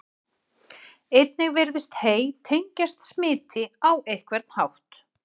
Einnig virðist hey tengjast smiti á einhvern hátt.